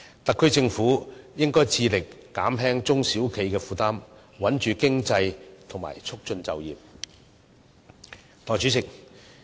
特區政府應該致力減輕中小企的負擔，穩住經濟及促進就業。